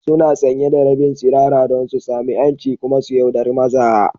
Suna sanye da rabin tsirara don su sami 'yanci kuma su yauɗari maza.